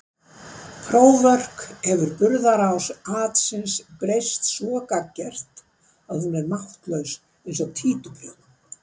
próförk hefur burðarás atsins breyst svo gagngert að hún er máttlaus eins og títuprjónn.